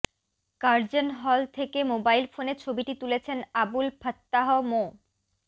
Curzon hall থেকে মোবাইল ফোনে ছবিটি তুলেছেন আবুল ফাত্তাহ মো